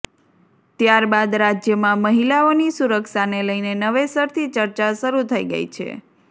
ત્યારબાદ રાજ્યમાં મહિલાઓની સુરક્ષાને લઇને નવેસરથી ચર્ચા શરૂ થઇ ગઇ છે